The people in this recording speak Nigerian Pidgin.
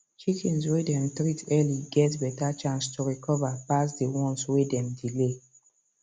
chickens way them treat early get better chance to recover pass the ones way dem delay